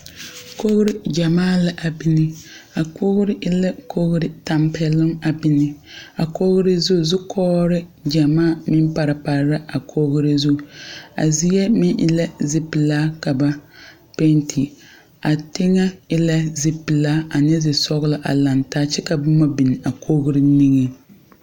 Kogre gyamaa la a bine. A kogre e la kogre tampɛluŋ a bine. A kogre zu, zukɔɔre gyamaa meŋ pare pare la a kogre zu. A zie meŋ e la zipulaa ka ba pɛnte. A teŋe e la zi pulaa ane zi sɔglɔ a lang taa kyɛ ka boma biŋ a kogre niŋe